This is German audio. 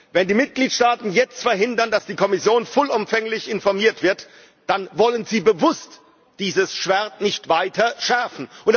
Wenn die Mitgliedsstaaten jetzt verhindern, dass die Kommission vollumfänglich informiert wird, dann wollen sie bewusst dieses Schwert nicht weiter schärfen.